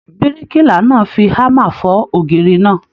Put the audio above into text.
Birikiila náà fí hámà fọ̀ ògiri náà.